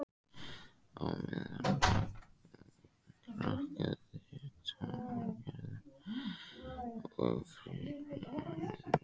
Á meðan hrakaði togaraútgerð og frystihúsarekstri.